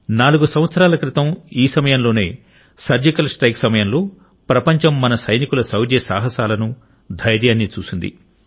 నాలుగు సంవత్సరాల క్రితం ఈ సమయంలోనే సర్జికల్ స్ట్రైక్ సమయంలో ప్రపంచం మన సైనికుల శౌర్య సాహసాలను ధైర్యాన్ని చూసింది